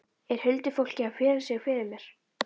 Er huldufólkið að fela sig fyrir mér?